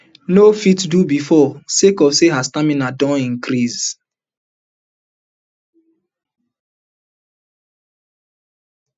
no fit do bifor sake of say her stamina don increase